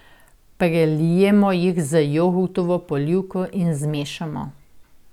Prelijemo jih z jogurtovo polivko in zmešamo.